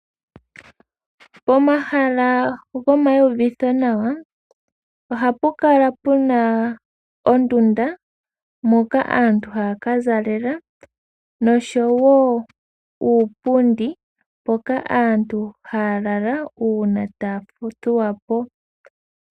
Pomahala go mayiyuvitho nawa ohapu kala pena ondunda moka aantu haya kazalela noshowo uupundi mpoka aantu haya lala uuna taya fudhapo .